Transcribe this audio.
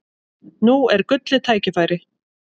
Nú er gullið tækifæri!